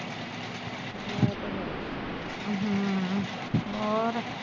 ਹੋਰ